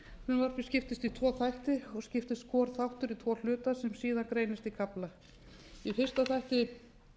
frumvarpið skiptist í tvo þætti og skiptist hvor þáttur í tvo hluta sem síðan greinast í kafla í fyrsta þætti